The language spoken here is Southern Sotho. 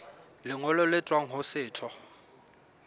lengolo le tswang ho setho